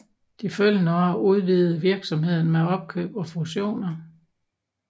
De følgende år udvidede virksomheden med opkøb og fusioner